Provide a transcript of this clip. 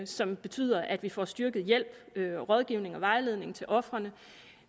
som betyder at vi får styrket hjælp rådgivning og vejledning til ofrene